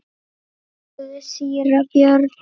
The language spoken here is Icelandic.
spurði síra Björn.